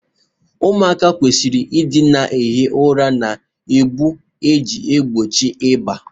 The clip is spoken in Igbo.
ụmụaka kwesịrị ịdị na-ehi ụra na ụgbụ iji gbochie ịba